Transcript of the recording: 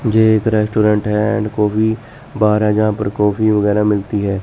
ये एक रेस्टोरेंट है एंड कॉफी बार है जहां पर कॉफी वगैरा मिलती है।